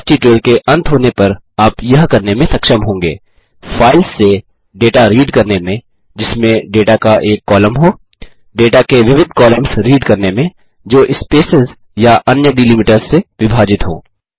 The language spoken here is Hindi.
इस ट्यूटोरियल के अंत होने पर आप यह करने में सक्षम होंगे फाइल्स से डेटा रीड करने में जिसमें डेटा का एक कॉलम हो डेटा के विविध कॉलम्स रीड करने में जो स्पेसेस या अन्य डीलिमिटर्स से विभाजित हों